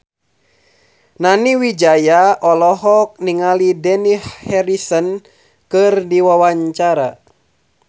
Nani Wijaya olohok ningali Dani Harrison keur diwawancara